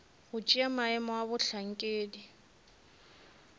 go tšea maemo a bohlankedi